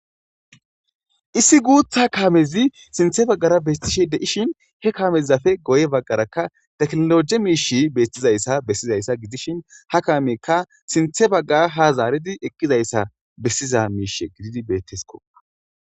issi guuthha kaamezi sinthe baggara bestishe de7ishin he kamezafe goye baggaraka teknologe miishi bettizayssa bessizayssa gidishin ha kaameekka sinthe bagga ha zaaridi ekkizayssa bessiza miishe gididi bettesko